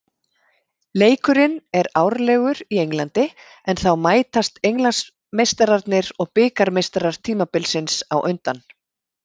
Leikurinn er árlegur í Englandi en þá mætast Englandsmeistararnir og bikarmeistarar tímabilsins á undan.